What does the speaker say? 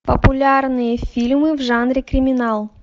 популярные фильмы в жанре криминал